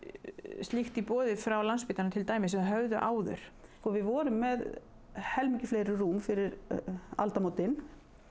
slíkt í boði frá Landspítalanum sem þeir höfðu áður við vorum með helmingi fleiri rúm fyrir aldamótin